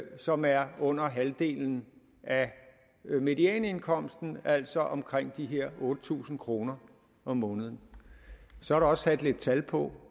som er under halvdelen af medianindkomsten altså omkring de her otte tusind kroner om måneden så er der også sat lidt tal på